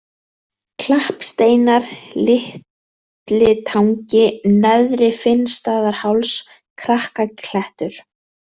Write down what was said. Klappsteinar, Litlitangi, Neðri-Finnstaðaháls, Krakkaklettur